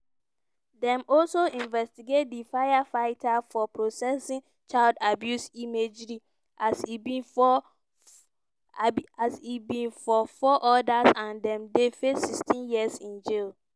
dem also investigate di firefighter for possessing child abuse imagery as e be for as im be for four odas and dem dey face sixteen years in jail.